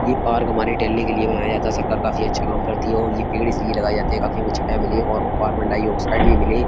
ये पार्क हमारे टहलने के लिए बनाया । सरकार काफी अच्छा काम करती है और ये पेड़ इसलिए लगाए जाते हैं ताकि हमें छाया मिले और कार्बन डाइऑक्साइड भी मिले।